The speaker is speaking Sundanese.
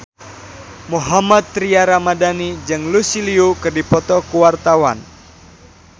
Mohammad Tria Ramadhani jeung Lucy Liu keur dipoto ku wartawan